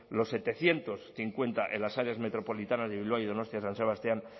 los setecientos cincuenta en las áreas metropolitanas de bilbao y donostia san sebastián